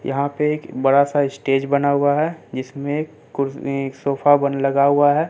यहां पे एक बड़ा सा स्टेज बना हुआ है जिसमें कुर्स ने एक सोफा बन लगा हुआ है।